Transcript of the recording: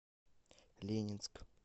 ленинск